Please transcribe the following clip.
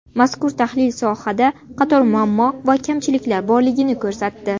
Mazkur tahlil sohada qator muammo va kamchiliklar borligini ko‘rsatdi.